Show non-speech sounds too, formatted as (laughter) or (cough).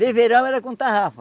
(unintelligible) era com tarrafa.